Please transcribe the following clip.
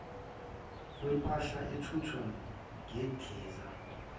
kwempahla ethuthwa ngendiza